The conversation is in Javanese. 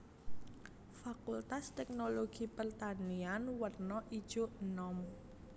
Fakultas Teknologi Pertanian werna ijo enom